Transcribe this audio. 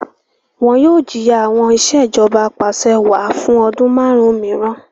Wọn yoo jiya awọn Ìṣèjọba Apàṣẹwàá fun ọdun marun miiran